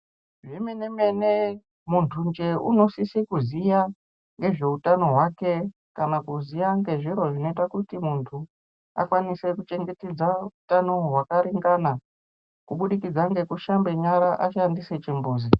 Zvemene mene muntunje unosise kuziya nezveutano hwake kana kuziya ngezviro zvinoita kuti muntu akwanise kuchengetedzwa utano hwakaringana kubudikidza ngekushambe nyara ashandise chimbuzi.